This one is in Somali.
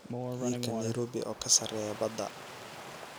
heerka nairobi oo ka sarreeya badda